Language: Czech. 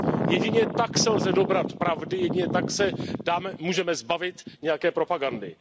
Jedině tak se lze dobrat pravdy, jedině tak se můžeme zbavit nějaké propagandy.